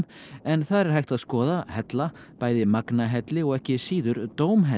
en þar er hægt að skoða hella bæði Magnahelli og ekki síður